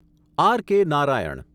R.K.. Narayan